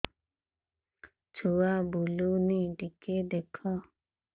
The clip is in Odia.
ଛୁଆ ବୁଲୁନି ଟିକେ ଦେଖ